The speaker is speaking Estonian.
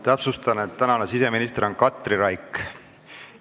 Täpsustan, et praegune siseminister on Katri Raik.